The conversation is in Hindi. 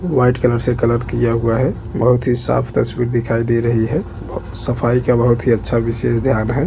व्हाइट कलर से कलर किया हुआ है बहोत ही साफ तस्वीर दिखाई दे रही है सफाई का बहुत ही अच्छा विशेष ध्यान है।